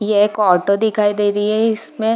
एक ऑटो दिखाई दे रही हैं इसमें --